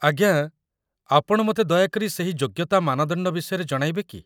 ଆଜ୍ଞା, ଆପଣ ମୋତେ ଦୟାକରି ସେହି ଯୋଗ୍ୟତା ମାନଦଣ୍ଡ ବିଷୟରେ ଜଣାଇବେ କି?